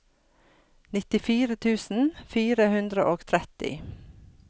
nittifire tusen fire hundre og tretti